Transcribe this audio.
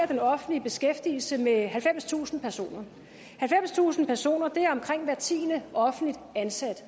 den offentlige beskæftigelse med halvfemstusind personer halvfemstusind personer er omkring hver tiende offentligt ansatte